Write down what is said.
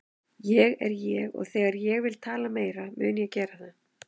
Ég er ég og þegar ég vil tala mun ég gera það.